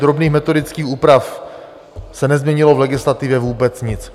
drobných metodických úprav se nezměnilo v legislativě vůbec nic.